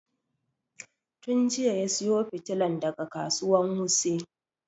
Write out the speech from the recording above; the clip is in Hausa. Tun jiya ya sayo fitilan daga kasuwan wuse